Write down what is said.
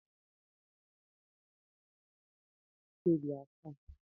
Ndị ọkàiwu dị n'ezinụlọ maazi Ike dị asaa